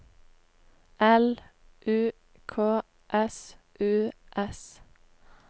L U K S U S